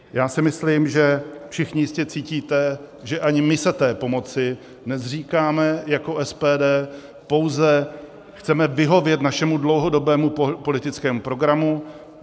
Já si myslím, že všichni jistě cítíte, že ani my se té pomoci nezříkáme jako SPD, pouze chceme vyhovět našemu dlouhodobému politickému programu.